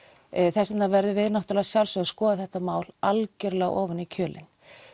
þess vegna verðum við að sjálfsögðu að skoða þetta mál algjörlega ofan í kjölinn